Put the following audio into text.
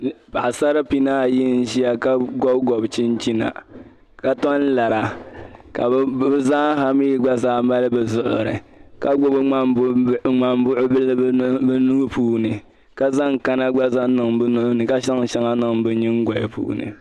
Paɣasari bihi ayi n ʒiya ka gobigobi chinchina ka tom lara ka mali bi zuɣuri ka gbubi ŋmanbuɣubihi bi nuuni ka zaŋ shɛŋa niŋ bi nyingoya ni